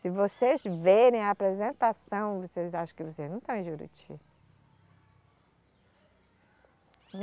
Se vocês verem a apresentação, vocês acham que vocês não estão em Juruti.